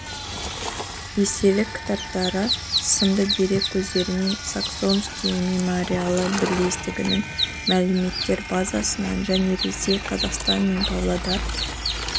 естелік кітаптары сынды дерек көздерінен саксонские мемориалы бірлестігінің мәліметтер базасынан және ресей қазақстан мен павлодар